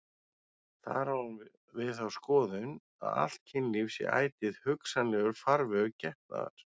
Þar á hún við þá skoðun að allt kynlíf sé ætíð hugsanlegur farvegur getnaðar.